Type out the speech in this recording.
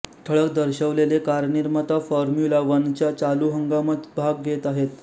ठळक दर्शवलेले कारनिर्माता फॉर्म्युला वनच्या चालु हंगामात भाग घेत आहेत